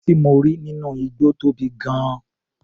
Erin tí mo rí nínú igbó tóbi gan-an.